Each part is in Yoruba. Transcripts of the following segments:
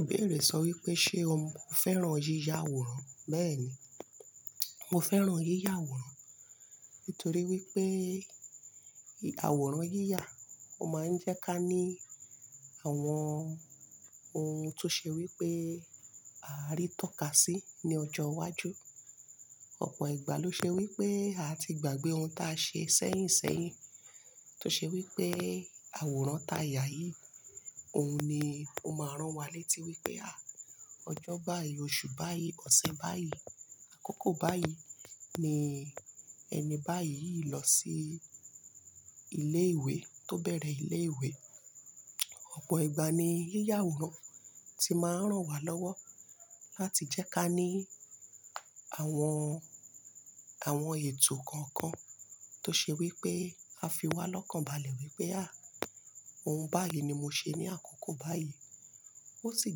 Ibéèré sọ wípé ṣe o mo fẹ́ràn yíya àwòrán? Béèni, mo fẹ́ràn yíya àwòrán nítorí wípé àwòrán yíya ó máa ń jẹ́ ká ní àwọn ohun tó ṣe wípé a rí tọ́ka sí ní ọjọ́ iwájú. Ọ̀pọ̀ ìgbà ló ṣe wípé àti gbàgbé ohun ta ṣe sẹ́yìn sẹ́yìn tó ṣe wípé àwòrán ta yà yìí, òun ni ó máa rán wa létí wípé à, ọjọ́ báyìí, oṣù báyìí, ọ̀sẹ̀ báyìí, àkókò báyìí ni ẹni báyìí yìí lọ sí ilé ìwé tó bẹ̀rẹ̀ ilé ìwé. Ọ̀pọ̀ ìgbà ni yíya àwòrán ti máa ń rán wa lọ́wọ́ láti jẹ́ ká ní àwọn, àwọn ètò kọ̀ọ̀kan tó ṣe wípé a fi wá lọ́kàn balẹ̀ wípé à, ohun báyìí ni mo ṣe ní àkókò báyìí. Ó sì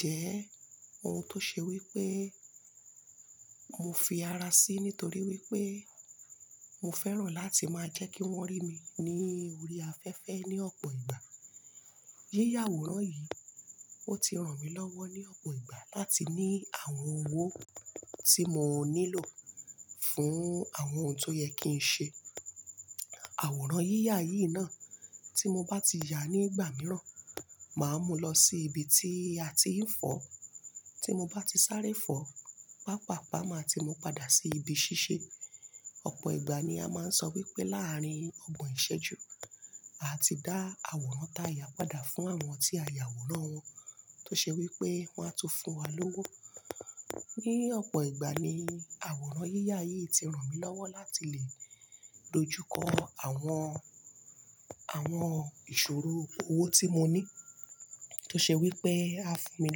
jẹ́ ohun tó ṣe wípé mo fi ara sí nítorí wípé mo fẹ́ràn láti máa jẹ́ kí wọ́n rí mi ní orí afẹ́fẹ́ ní ọ̀pọ̀ ìgbà. Yíya àwòrán yìí, ó ti ràn mí lọ́wọ́ ní ọ̀pọ̀ ìgbà láti ní àwọn owó tí mo nílò fún àwọn ohun tó yẹ kí n ṣe. Àwòrán yíya yìí náà tí mo bá ti ya nígbà mìíràn, màá mú lọ sí ibi tí a ti ń fọ̀. Tí mo bá ti sáré fọ̀, pàápàá màá ti mú padà sí ibi ṣíṣe. Ọ̀pọ̀ ìgbà ni a máa ń sọ wípé láàárín ọgbọ̀n ìṣẹ́ju, a ti dá àwòrán ta yà padà fún àwọn tí a yà àwòrán wọn tó ṣe wípé wón á tún fún wa lówó. Ní ọ̀pọ̀ ìgbà ni àwòrán yíya yìí ti ràn mí lọ́wọ́ láti lè dojúkọ àwọn, àwọn ìṣòro owó tí mo ní tó ṣe wípé a fún mi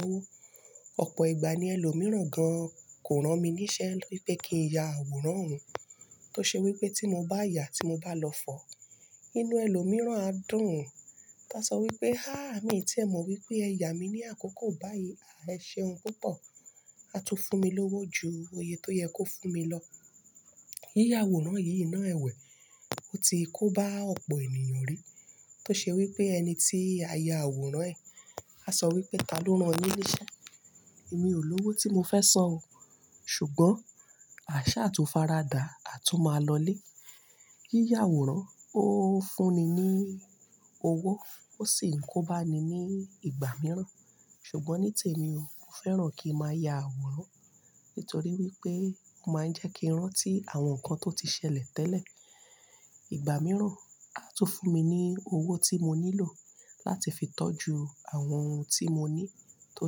lówó. Ọ̀pọ̀ ìgbà ni ẹlòmíràn gan kò rán mi níṣẹ́ wípé kí n ya àwòrán òun tó ṣe wípé tí mo bá ya, tí mo bá lọ fọ̀, inú ẹlòmíràn á dùn ún tá sọ wípé "háá mi ò tíì ẹ mọ̀ wípé ẹ ya mi ní àkókò báyìí, à ẹ ṣe ohun púpọ̀, a tún fún mi lówó ju òye tó yẹ kó fún mi lọ." Yíya àwòrán yìí náà ẹ̀wẹ̀ ó ti kó bá ọ̀pọ̀ ènìyàn rí tó ṣe wípé ẹni tí a ya àwòrán ẹ̀, a sọ wípé "taló rán ẹ níṣẹ́? Èmi ò lówó tí mo fẹ́ san o." ṣùgbọ́n àṣà tó faradà, a tún máa lọlé. Yíya àwòrán ó fún ni ní owó ó sì ń kó bá ni ní ìgbà mìíràn. Ṣùgbọ́n ní tèmi o, mo fẹ́ràn kí n máa ya àwòrán nítorí wípé ó máa ń jẹ́ kí n rántí àwọn nǹkan tó ti ṣẹlẹ̀ tẹ́lẹ̀. Ìgbà mìíràn, a tún fún mi ní owó tí mo nílò láti fi tọ́jú àwọn ohun tí mo ní tó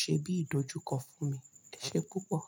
ṣe bí ìdójú kọ́ fún mi, ẹ ṣe púpọ̀